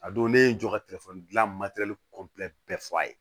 A don ne ye n jɔ ka telefɔni gilan bɛɛ fɔ a ye